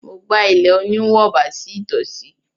Mo gba ilé oníwọ̀ba sí ìtòsí.